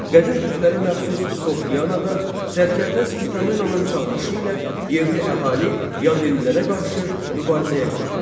Qədim türklərə məxsus Soqdiyada, Sərkərdə Spitamenanın çağırışı ilə yerli əhali yadellilərə qarşı mübarizəyə qalxdı.